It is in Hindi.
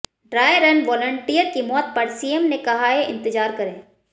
ड्राय रन वॉलंटियर की मौत पर सीएम ने कहा है इंतजार करें